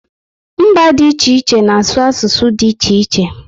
Mba dị iche iche na asụ asụsụ dị iche iche